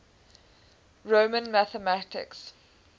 roman mathematics